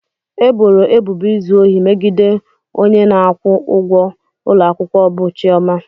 E boro ebubo izu ohi megide onye na-akwụ ụgwọ ụlọ akwụkwọ bụ Chioma.